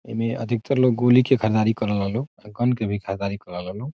इ मे अधिकतर लोग गोली के खलाड़ी कराता लोग के भी खरीददारी करे ला लोग।